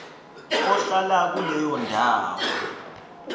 ohlala kuleyo ndawo